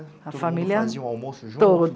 A família... Todo mundo fazia o almoço junto?